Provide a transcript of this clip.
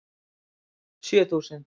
Sjö þúsund